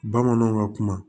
Bamananw ka kuma